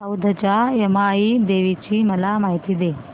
औंधच्या यमाई देवीची मला माहिती दे